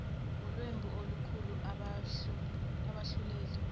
ulwembu lukhuhle abahluleli